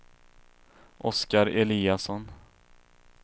Oscar Eliasson